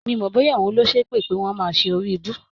Mi ò mọ̀ bóyá òun ló ṣépè pé wọ́n máa ṣe oríibú.